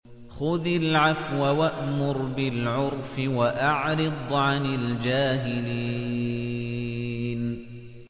خُذِ الْعَفْوَ وَأْمُرْ بِالْعُرْفِ وَأَعْرِضْ عَنِ الْجَاهِلِينَ